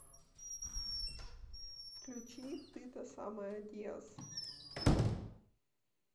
включи ты та самая диаз